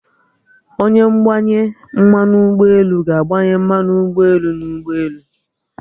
Onye ngbanye mmanụ ugboelu ga-agbanye mmanu ụgbọelu n'ụgbọelu